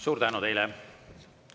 Suur tänu teile!